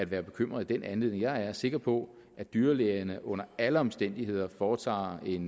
være bekymret i den anledning jeg er sikker på at dyrlægerne under alle omstændigheder foretager et